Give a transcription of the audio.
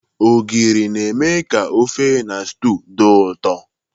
Ogiri na-eme ka ofe na stew dị ụtọ.